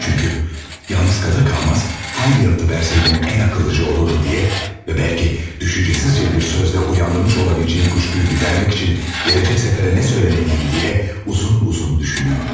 Çünki yalnız qalır-qalmaz, hansı yanıtı versəydim ən ağıllıca olurdu deyə və bəlki düşüncəsizcə bir sözlə oyandırmış ola biləcəyim şübhəni gidərmək üçün gələcək səfərə nə söyləməliyəm deyə uzun-uzun düşünürdüm.